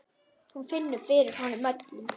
Hún finnur fyrir honum öllum.